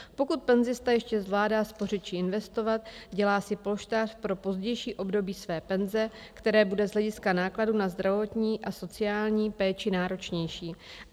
"Pokud penzista ještě zvládá spořit či investovat, dělá si polštář pro pozdější období své penze, které bude z hlediska nákladů na zdravotní a sociální péči náročnější.